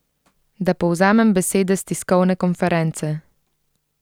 Da povzamem besede s tiskovne konference.